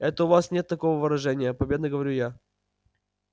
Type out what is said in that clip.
это у вас нет такого выражения победно говорю я